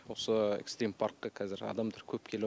осы экстрим паркке қазір адамдар көп келіп